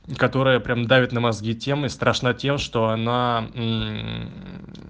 которая прям давит на мозги тем и страшна тем что она